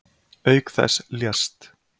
Auk þess lést